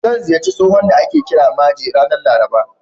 Zan ziyarci tsohon da ake kira Maje, ranar Laraba.